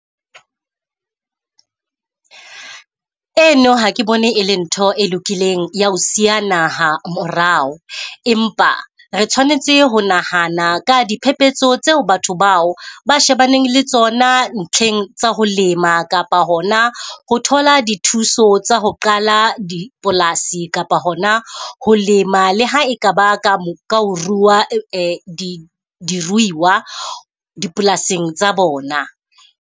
Eno ha ke bone e le ntho e lokileng ya ho siya naha morao. Empa re tshwanetse ho nahana ka diphepetso tseo batho bao ba shebaneng le tsona ntlheng tsa ho lema kapa hona ho thola dithuso tsa ho qala dipolasi. kapa hona ho lema le ha e kaba ka mo, ka ho ruwa di diruiwa dipolasing tsa bona.